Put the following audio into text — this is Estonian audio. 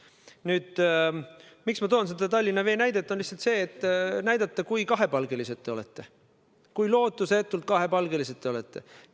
Põhjus, miks ma tõin Tallinna Vee näite, on lihtsalt see, et näidata, kui kahepalgelised te olete, kui lootusetult kahepalgelised te olete.